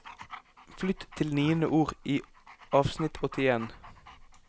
Flytt til niende ord i avsnitt åttien